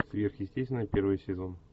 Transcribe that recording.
сверхъестественное первый сезон